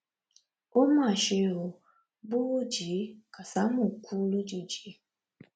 ó mà ṣe ó burújí kásámù kú lójijì